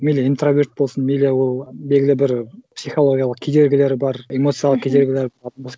мейлі интроверт болсын мейлі ол белгілі бір психологиялық кедергілері бар эмоциялық кедергілер